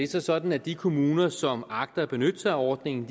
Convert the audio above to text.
så sådan at de kommuner som agter at benytte sig af ordningen